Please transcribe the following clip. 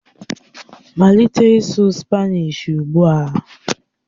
Malite ịsụ Spanishi ugbu a!